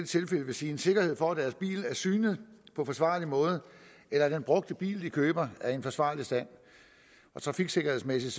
tilfælde vil sige en sikkerhed for at deres bil er synet på forsvarlig måde eller at den brugte bil de køber er i en forsvarlig stand og trafiksikkerhedsmæssigt